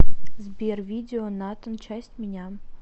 сбер видео натан часть меня